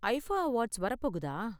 IIFA awards வர போகுதா?